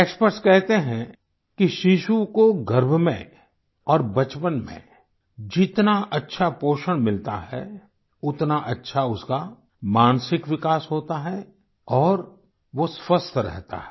experts कहते हैं कि शिशु को गर्भ में और बचपन में जितना अच्छा पोषण मिलता है उतना अच्छा उसका मानसिक विकास होता है और वो स्वस्थ रहता है